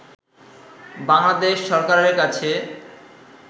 বাংলাদেশ সরকারের কাছে